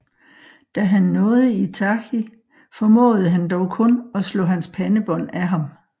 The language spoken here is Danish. Da han nåede Itachi formåede han dog kun at slå hans pandebånd af ham